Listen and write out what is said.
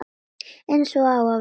Eins og á að vera.